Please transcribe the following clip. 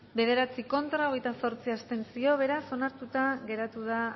bederatzi contra hogeita zortzi abstentzio beraz onartuta geratu da